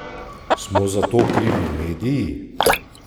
Smo zato krivi mediji?